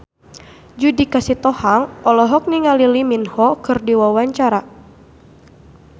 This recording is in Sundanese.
Judika Sitohang olohok ningali Lee Min Ho keur diwawancara